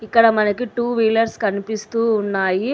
ఇక్కడ మనకి two wheelers కనిపిస్తూ ఉన్నాయి.